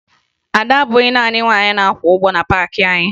Ada bụbu naanị nwaanyị na-akwa ụgbọ na paakị anyị